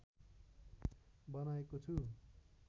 बनाएको छु